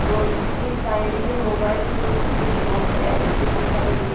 और इसके साइड में मोबाइल फोन की कोई शॉप है जिसमें बहोत सारे ले--